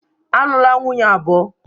Alụla nwunye abụọ!